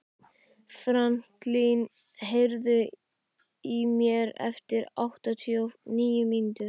Franklín, heyrðu í mér eftir áttatíu og níu mínútur.